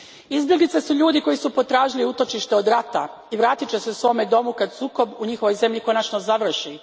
Izbjeglice su ljudi koji su potražili utočište od rata i vratit će se svome domu kad sukob u njihovoj zemlji konačno završi.